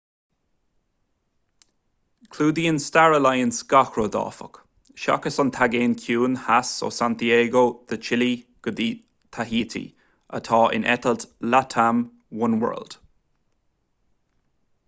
clúdaíonn star alliance gach rud áfach seachas an taigéan ciúin theas ó santiago de chile go dí taihítí atá ina eitilt latam oneworld